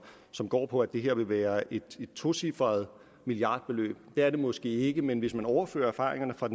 som går på at det vil være et tocifret milliardbeløb det er det måske ikke men hvis man overfører erfaringerne fra